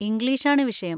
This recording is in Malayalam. ഇംഗ്ലീഷാണ് വിഷയം.